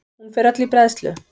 Hún fer öll í bræðslu.